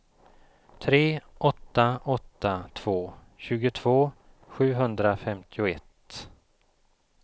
tre åtta åtta två tjugotvå sjuhundrafemtioett